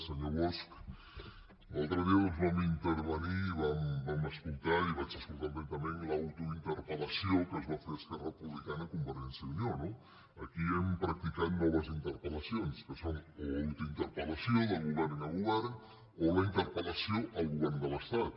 se·nyor bosch l’altre dia doncs vam intervenir i vam escoltar i vaig escoltar atentament l’autointerpel·lació que es va fer esquerra republicana a conver·gència i unió no aquí hem practicat noves interpel·lacions que són o autointerpel·lació de govern a govern o la interpel·lació al govern de l’estat